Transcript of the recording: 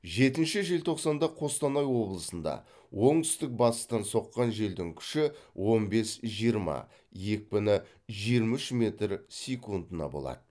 жетінші желтоқсанда қостанай облысында оңтүстік батыстан соққан желдің күші он бес жиырма екпіні жиырма үш метр секундына болады